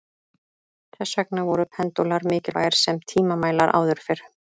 Þess vegna voru pendúlar mikilvægir sem tímamælar áður fyrr.